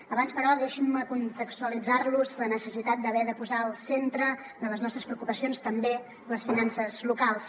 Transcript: abans però deixin me contextualitzar los la necessitat d’haver de posar al centre de les nostres preocupacions també les finances locals